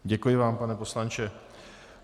Děkuji vám, pane poslanče.